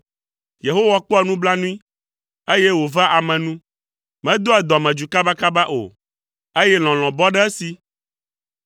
Yehowa kpɔa nublanui, eye wòvea ame nu, medoa dɔmedzoe kabakaba o, eye lɔlɔ̃ bɔ ɖe esi.